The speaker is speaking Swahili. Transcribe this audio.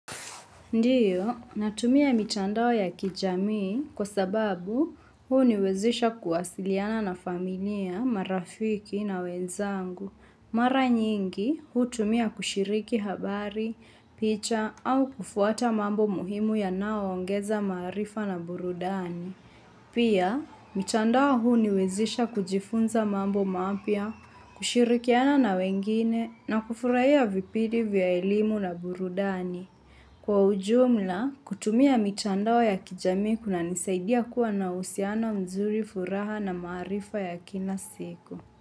Ndiyo, natumia mitandao ya kijamii kwa sababu huniwezesha kuwasiliana na familia, marafiki na wenzangu. Mara nyingi, hutumia kushiriki habari, picha au kufuata mambo muhimu yanao ongeza marifa na burudani. Pia, mitandao huniwezisha kujifunza mambo mapya, kushirikiana na wengine na kufurahia vipidi vya elimu na burudani. Kwa ujumla, kutumia mitandao ya kijamii kunanisaidia kuwa na uhusiano mzuri, furaha na maarifa ya kina siku.